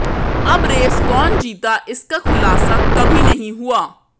अब रेस कौन जीता इसका खुलासा कभी नहीं हुआ